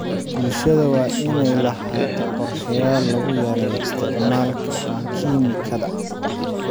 Bulshada waa in ay lahaato qorshayaal lagu yareeyo isticmaalka kiimikada.